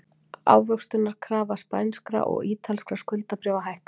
Ávöxtunarkrafa spænskra og ítalskra skuldabréfa hækkar